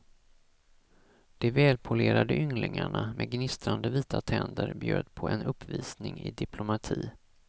De välpolerade ynglingarna, med gnistrande vita tänder bjöd på en uppvisning i diplomati.